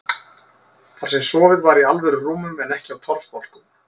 Þar sem sofið var í alvöru rúmum en ekki á torfbálkum.